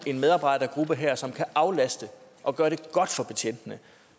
en medarbejdergruppe her som kan aflaste og gøre det godt for betjentene